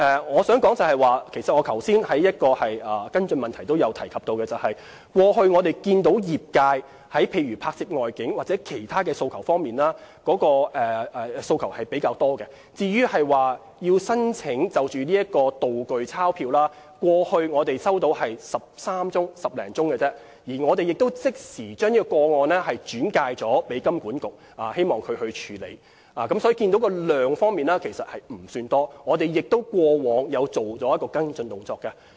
我想指出，我剛才在回答跟進質詢時也曾提及，過去業界提出拍攝外景或其他方面的訴求比較多，就製作"道具鈔票"，我們過去只接獲13宗查詢而已，我們亦已即時將個案轉介金管局處理，所以數量方面其實不算多，我們過往亦有作出跟進。